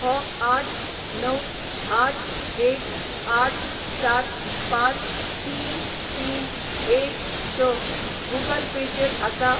हो आठ णव आठ एक आठ सात पांच तीन तीन एक स गूगल पे चेर आसा?